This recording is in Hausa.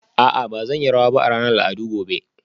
A'a ba zan yi rawa ba a ranar al'adu gobe